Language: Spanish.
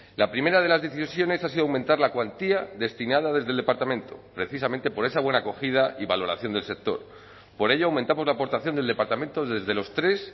la primera de las decisiones ha sido aumentar la cuantía destinada desde el departamento precisamente por esa buena acogida y valoración del sector por ello aumentamos la aportación del departamento desde los tres